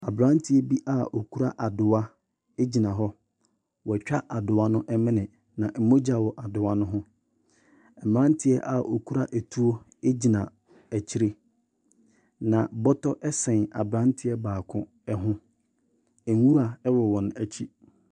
Aberanteɛ bi a ɔkura adowa gyina hɔ. Wɔatwa adowa no mene, na mogya wɔ adowa no ho. Mmeranteɛ a wɔkura tuo gyina akyire, na bɔtɔ sɛn aberanteɛ baako hi. Nwura wɔ wɔn akyi.